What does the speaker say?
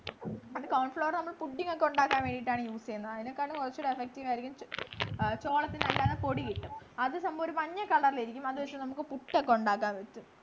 ണ്ടു corn floor നമ്മള് pudding ഒക്കെ ഉണ്ടാക്കാനാണ് use ചെയ്യുന്ന അതിനേക്കാളും കൊറച്ചുകൂടെ effective ആയിരിക്കും ചോളത്തിൻ്റെ അല്ലാതെ പൊടി കിട്ടും അത് നമ്മ ഒരു മഞ്ഞ color റിൽ ഇരിക്കും അത് വച്ച് നമ്മക്ക് പുട്ടോക്കെ ഉണ്ടാക്കാൻ പറ്റും